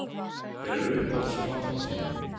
Hver er uppáhalds platan þín????